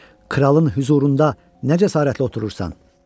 Kralın hüzurunda nə cəsarətlə oturursan?